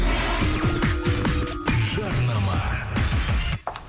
жарнама